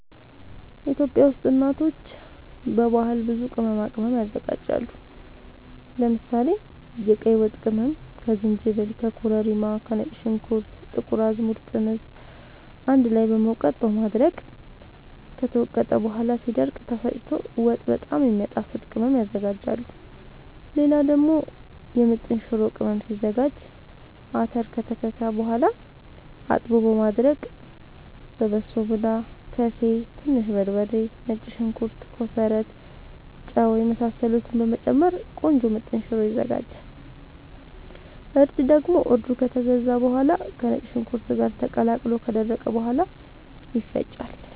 ኢትዮጵያ ውስጥ እናቶች በባህል ብዙ ቅመማ ቅመም ያዘጋጃሉ። ለምሳሌ፦ የቀይ ወጥ ቅመም ከዝንጅብል፣ ከኮረሪማ፣ ከነጭ ሽንኩርት፣ ጥቁር አዝሙድ፣ ጥምዝ አንድ ላይ በመውቀጥ በማድረቅ ከተወቀጠ በኋላ ሲደርቅ ተፈጭቶ ወጥ በጣም የሚያጣፋጥ ቅመም ያዝጋጃሉ። ሌላ ደግሞ የምጥን ሽሮ ቅመም ሲዘጋጅ :- አተር ከተከካ በኋላ አጥቦ በማድረቅ በሶብላ፣ ከሴ፣ ትንሽ በርበሬ፣ ነጭ ሽንኩርት፣ ኮሰረት፣ ጫው የመሳሰሉትን በመጨመር ቆንጆ ምጥን ሽሮ ይዘጋጃል። እርድ ደግሞ እርዱ ከተገዛ በኋላ ከነጭ ሽንኩርት ጋር ተቀላቅሎ ከደረቀ በኋላ ይፈጫል።